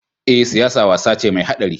Eh, siyasa wasa ce mai haɗari?